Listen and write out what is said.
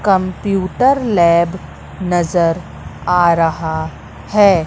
Computer lab नज़र आ रहा है।